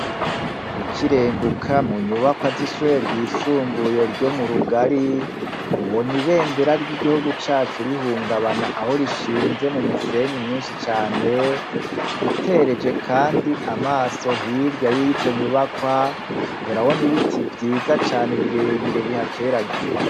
Gukirenguka mu nyubakwa z'ishuri ryisumbuye ryo mu rugari ubona ibendera ry'igihugu cacu rihungabana aho rishinze mu musenyi mwinshi cane utereje, kandi amaso hirya y'izo nyubakwa urabona ibiti vyiza cane birebire bihateragiye.